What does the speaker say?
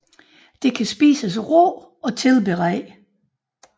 Det kan spises råt og tilberedt